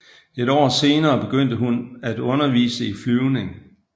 Et år senere begyndte hun at undervise i flyvning